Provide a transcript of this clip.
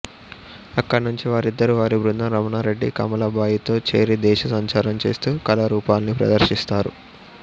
అక్కడినుంచి వారిద్దరూ వారి బృందం రమణారెడ్డి కమలాబాయి తో చేరి దేశ సంచారం చేస్తూ కళారూపాల్ని ప్రదర్శిస్తారు